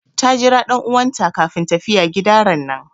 Ta Jira dan'uwan ta kafin tafiya gida ranan.